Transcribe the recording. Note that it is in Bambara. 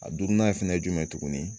A duurunan fɛnɛ ye jumɛn ye tuguni